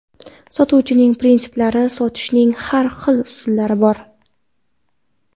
Sotuvchining prinsiplari Sotishning har xil usullari bor.